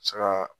Saga